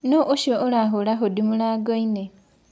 Nũ ũcĩo ũrahũra hũdĩ mũrangoĩnĩ?